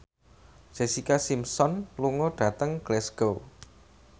Jessica Simpson lunga dhateng Glasgow